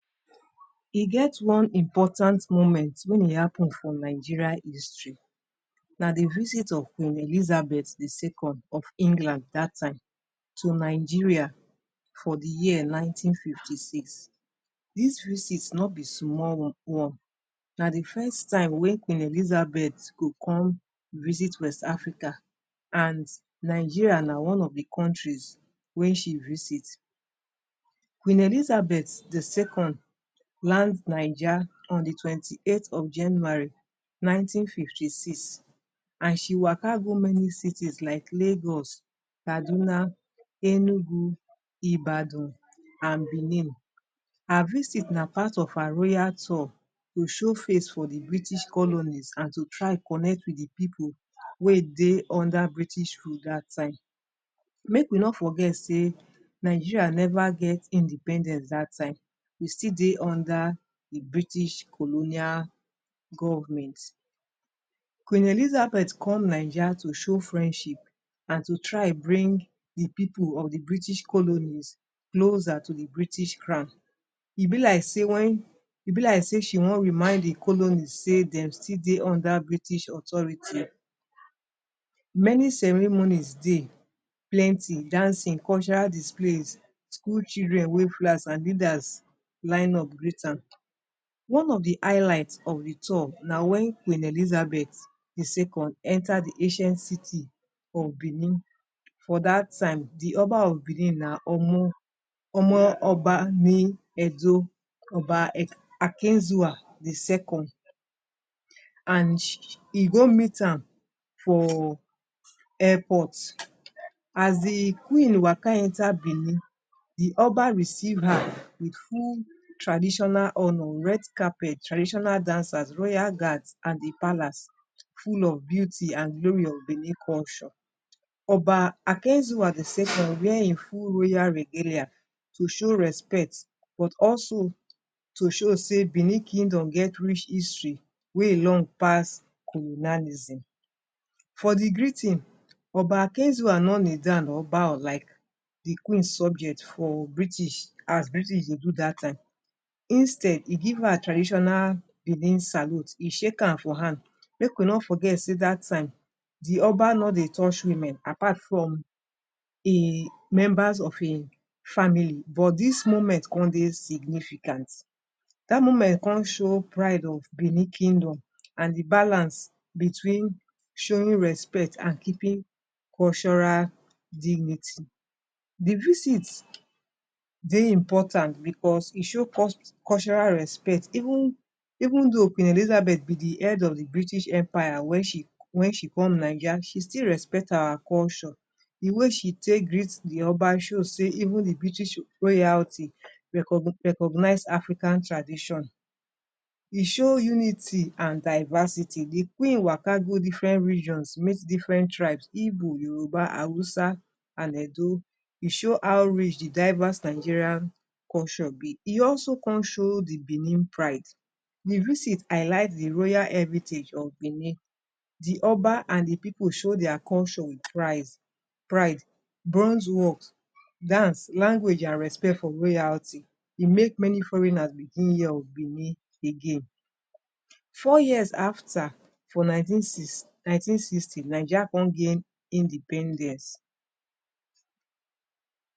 E get one important moment wen e happen for Nigeria history na di visit of queen Elizabeth di second of England daht time to Nigeria for di year nineteen fifty six dis visit no be small one one na d fest time wey queen elizabet go com visit west Africa and Nigeria na one of do countries wey she visit queen Elizabeth di second land Naija on di twenty eight of January nineteen fifty six and she waka go many cities like lagos, kaduna, enugun ibadun and benin her visit na part of her royal tor to show face for di British colonies and to try connect wit di people wey e dey under rule daht time make we no forget sey Nigeria never get independence dat time we still dey under di British colonial government queen elizabet come Naija to show frienship and to try bring people of di British colonies closer to di British crawn e be like sey wen e be like sey she wan remind di colonies sey dem still dey under British authorities many ceremonies dey plenti dancing cultural displays full children wey full house and leaders line up greet am one of d eyelight of the tor na when queen elizabet di second enter di ancient city of benin for daht time the oba of Benin na omo omo oba ni Edo Oba erh akinzuwa di second and e go meet am for airport as di queen waka enter benin di oba receive her wit full traditional honour red carper traditional dancers royal gard and di palace full of beauty and di glori of benin culture Oba Akinzuwa di second wear en full royal regelia to show respect but also to show sey benin kindom rich histry wey e long pass colonalism for di greeting oba Akinzuwa no kneel down or bow like di queen subject for British as British dey do dah time instead he gyv her traditional benin salute e shake am for hand make we no forget sey dah time di Oba no dey touch women apart from him members of hin family but dis moment con dey significant dah moment con show pride of Benin kindom and di balance between showing respect and keeping cultural dignity, the visits dey impotant because e show cul cultural respect even even though queen elizabet na di head of di British empire when she when she come naija she still respect our culture di way she take greet di oba show sey even the British royalty reco recognize African tradition e show unity and diversity d queen waka go diferent regions meet diferent tribes igbo yoruba hausa and edo e show how rich the diverse Nigeria culture be e also con show the benin pride the visit alight the royal heritage of Benin the oba and the people show deir culture in prise pride bronse walt dance language and respect for royalty e make many foreigners begin hear of benim again four years after for nineteen six nineteen sixty Nigeria co gain independence